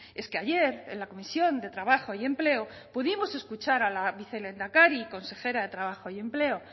es que ayer en la comisión de trabajo y empleo pudimos escuchar a la vicelehendakari y consejera de trabajo y empleo